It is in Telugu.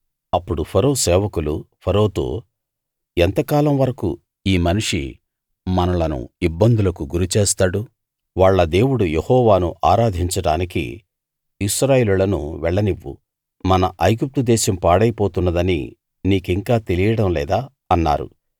అప్పుడు ఫరో సేవకులు ఫరోతో ఎంతకాలం వరకూ ఈ మనిషి మనలను ఇబ్బందులకు గురిచేస్తాడు వాళ్ళ దేవుడు యెహోవాను ఆరాధించడానికి ఇశ్రాయేలీయులను వెళ్లనివ్వు మన ఐగుప్తు దేశం పాడైపోతున్నదని నీకింకా తెలియడం లేదా అన్నారు